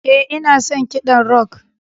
Ee, ina son kiɗan rock.